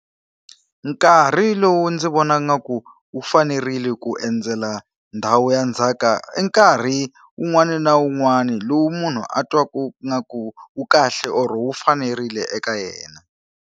Nkarhi lowu ndzi vonaka nga ku wu fanerile ku endzela ndhawu ya ndzhaka i nkarhi wun'wani na wun'wani lowu munhu a twa ku ingaku wu kahle or wu fanerile eka yena.